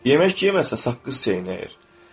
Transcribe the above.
Yemək yeməsə saqqız çeynəyir.